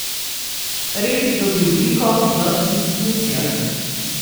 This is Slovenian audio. Red dobi obliko v institucijah.